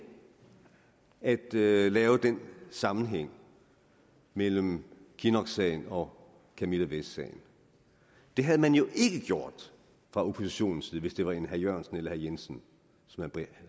at lave lave den sammenhæng mellem kinnocksagen og camilla vest sagen det havde man jo ikke gjort fra oppositionens side hvis det var en herre jørgensen eller jensen